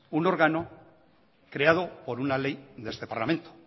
un órgano creado por una ley de este parlamento